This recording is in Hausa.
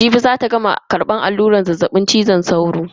Jibi zata gama karbar alluran zazzabin cizon sauro.